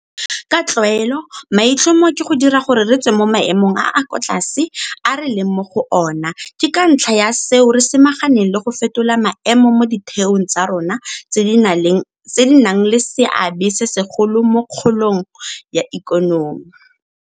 Ka tlwaelo maitlhomo ke go dira gore re tswe mo maemong a a kwa tlase a re leng mo go ona, ke ka ntlha ya seo re samaganeng le go fetola maemo mo ditheong tsa rona tse di nang le seabe se segolo mo kgolong ya ikonomi.